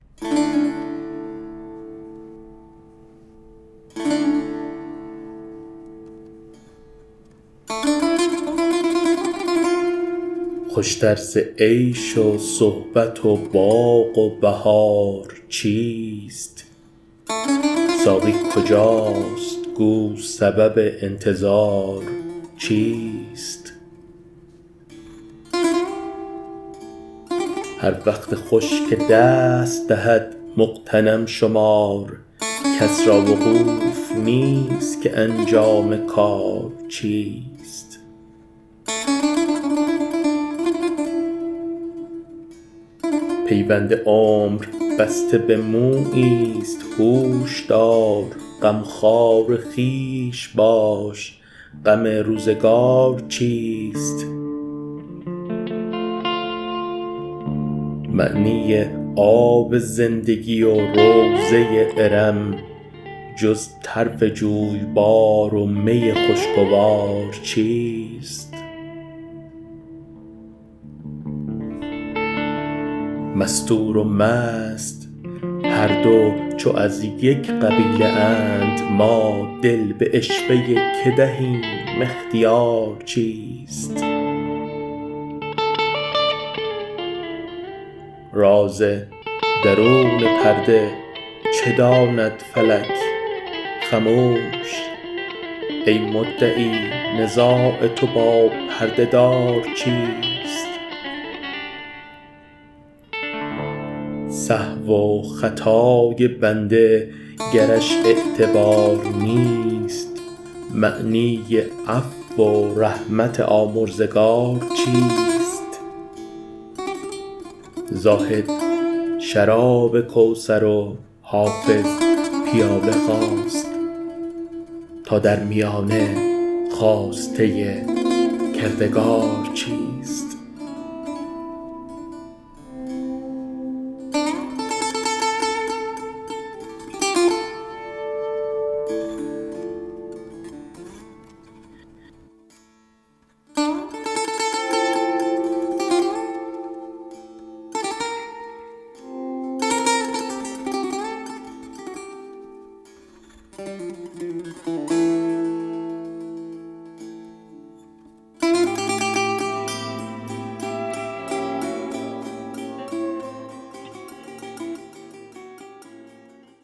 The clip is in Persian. خوش تر ز عیش و صحبت و باغ و بهار چیست ساقی کجاست گو سبب انتظار چیست هر وقت خوش که دست دهد مغتنم شمار کس را وقوف نیست که انجام کار چیست پیوند عمر بسته به مویی ست هوش دار غمخوار خویش باش غم روزگار چیست معنی آب زندگی و روضه ارم جز طرف جویبار و می خوشگوار چیست مستور و مست هر دو چو از یک قبیله اند ما دل به عشوه که دهیم اختیار چیست راز درون پرده چه داند فلک خموش ای مدعی نزاع تو با پرده دار چیست سهو و خطای بنده گرش اعتبار نیست معنی عفو و رحمت آمرزگار چیست زاهد شراب کوثر و حافظ پیاله خواست تا در میانه خواسته کردگار چیست